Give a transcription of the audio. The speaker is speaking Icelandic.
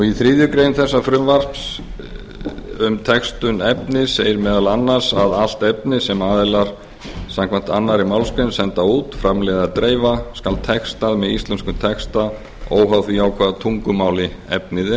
í þriðju grein þessa frumvarps segir um textun efnis segir meðal annars allt efni sem aðilar samkvæmt annarri grein senda út framleiða eða dreifa skal textað með íslenskum texta óháð því á hvaða tungumáli efnið